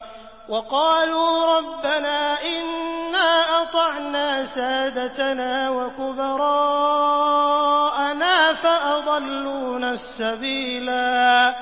وَقَالُوا رَبَّنَا إِنَّا أَطَعْنَا سَادَتَنَا وَكُبَرَاءَنَا فَأَضَلُّونَا السَّبِيلَا